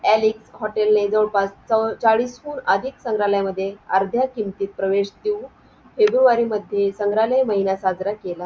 hotel नी जवळपास चाळीस हुन अधिक संग्रालय आर्ध्या किमतीत प्रवेश घेऊन फेब्रुवारी मध्ये संग्रालय महिना साजरा केला